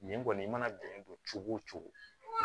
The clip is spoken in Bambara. Nin kɔni i mana bɛn don cogo o cogo